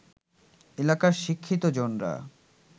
এলাকার শিক্ষিতজনরা